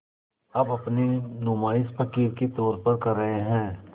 अब अपनी नुमाइश फ़क़ीर के तौर पर कर रहे हैं